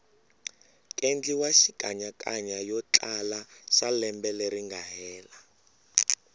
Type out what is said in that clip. kendliwa xikanyakanya yotlala xalembe leringa hela